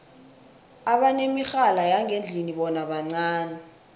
abanemirhala yangendlini bona bancani